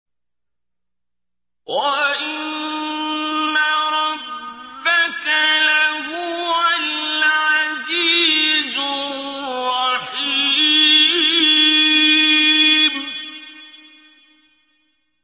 وَإِنَّ رَبَّكَ لَهُوَ الْعَزِيزُ الرَّحِيمُ